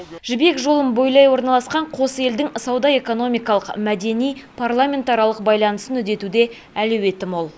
жібек жолын бойлай орналасқан қос елдің сауда экономикалық мәдени парламентаралық байланысын үдетуде әлеуеті мол